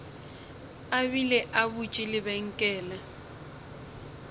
a bile a butše lebenkele